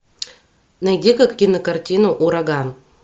найди ка кинокартину ураган